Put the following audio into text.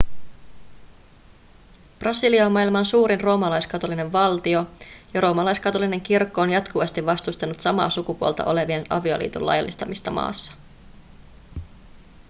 brasilia on maailman suurin roomalaiskatolinen valtio ja roomalaiskatolinen kirkko on jatkuvasti vastustanut samaa sukupuolta olevien avioliiton laillistamista maassa